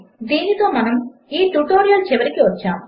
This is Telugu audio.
దీనితో మనము ఈ ట్యుటోరియల్ చివరికి వచ్చాము